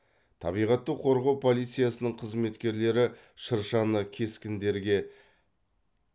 табиғатты қорғау полициясының қызметкерлері шыршаны кескіндерге